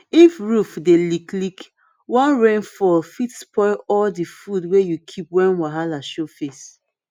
if roof dey leak leak one rain fall fit spoil all de food way u keep when wahala show face